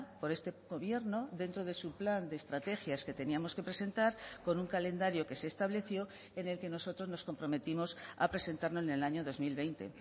por este gobierno dentro de su plan de estrategias que teníamos que presentar con un calendario que se estableció en el que nosotros nos comprometimos a presentarlo en el año dos mil veinte